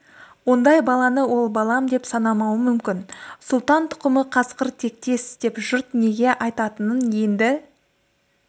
ондай баланы ол балам деп санамауы мүмкін сұлтан тұқымы қасқыр тектес деп жұрт неге айтатынын енді